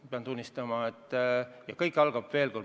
Ja veel kord: kõik algab kodunt.